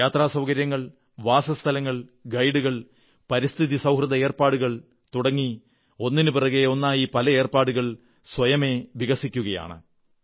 യാത്രസൌകര്യങ്ങൾ വാസസ്ഥലങ്ങൾ ഗൈഡുകൾ പരിസ്ഥിതി സൌഹൃദ ഏർപ്പാടുകൾ തുടങ്ങി ഒന്നിനു പുറകെ ഒന്നായി പല ഏർപ്പാടുകൾ സ്വയമേവ വികസിക്കുകയാണ്